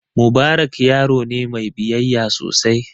Mubarak yaro ne mai biyayya sosai.